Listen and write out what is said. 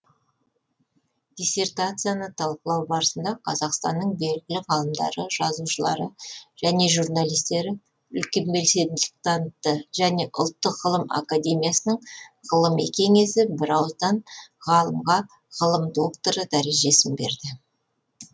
диссертацияны талқылау барысында қазақстанның белгілі ғалымдары жазушылары және журналистері үлкен белсенділік танытты және ұлттық ғылым академиясының ғылыми кеңесі бірауыздан ғалымға ғылым докторы дәрежесін берді